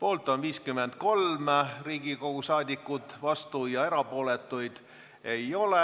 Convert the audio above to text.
Poolt on 53 Riigikogu liiget, vastuolijaid ja erapooletuid ei ole.